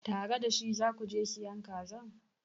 Tare da shi za ku je sayan kazan?